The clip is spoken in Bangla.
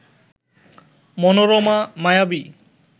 মনোরমা, মায়াবী